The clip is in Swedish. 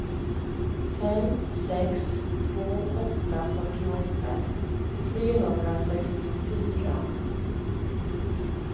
fem sex två åtta fyrtioåtta trehundrasextiofyra